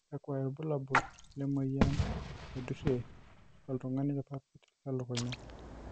kakua irbulabol lemoyian naidurie oltungani irpapit te lukunya?